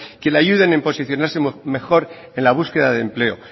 que le ayuden en posicionarse mejor en la búsqueda de empleo